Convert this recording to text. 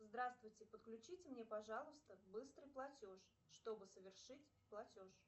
здравствуйте подключите мне пожалуйста быстрый платеж чтобы совершить платеж